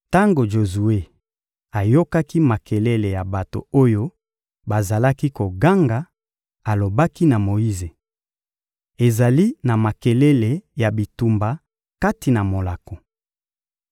Tango Jozue ayokaki makelele ya bato oyo bazalaki koganga, alobaki na Moyize: — Ezali na makelele ya bitumba kati na molako!